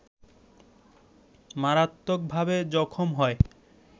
মারাত্মকভাবে জখম হয়